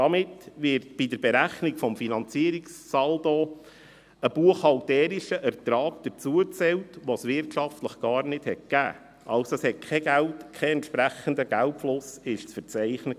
Damit wird bei der Berechnung des Finanzierungssaldos ein buchhalterischer Ertrag dazugezählt, welchen es wirtschaftlich gar nicht gegeben hat, es war also kein entsprechender Geldzufluss zu verzeichnen.